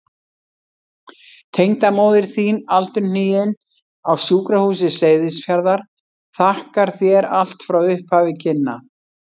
Tengdamóðir þín aldurhnigin, á Sjúkrahúsi Seyðisfjarðar, þakkar þér allt frá upphafi kynna.